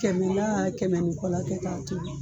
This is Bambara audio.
Kɛmɛ la kɛmɛ ni kɔ la kɛ k'a tobi